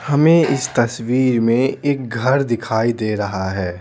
हमें इस तस्वीर में एक घर दिखाई दे रहा है।